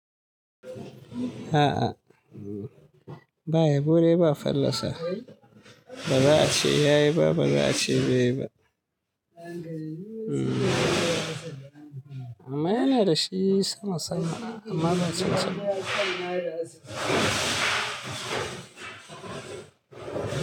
A'a, bayabo de ba fallasa. Ba za a ce ya yi ba, ba za a ce bai yi ba. Amma yana da shi sama sama, amma ba sosai ba.